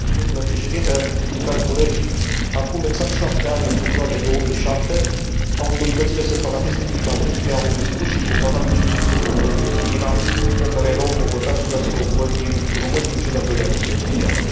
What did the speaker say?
Domnule președinte, dragi colegi, acum exact șapte ani, în februarie 2007, autoritățile separatiste din Transnistria au distrus și profanat cimitirul românesc din Tighina, în care erau înmormântați soldații români din cel de al Doilea Război Mondial.